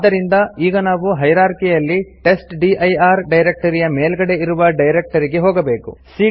ಆದ್ದರಿಂದ ಈಗ ನಾವು ಹೈರಾರ್ಕಿಯಲ್ಲಿ ಟೆಸ್ಟ್ಡಿರ್ ಡೈರೆಕ್ಟರಿಯ ಮೇಲ್ಗಡೆ ಇರುವ ಡೈರೆಕ್ಟರಿಗೆ ಹೋಗಬೇಕು